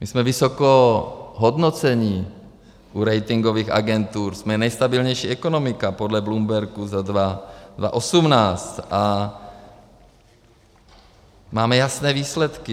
My jsme vysoko hodnocení u ratingových agentur, jsme nejstabilnější ekonomika podle Bloombergu za 2018 a máme jasné výsledky.